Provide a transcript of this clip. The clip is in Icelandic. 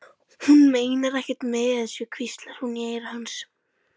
Hún meinar ekkert með þessu, hvíslaði hún í eyra hans.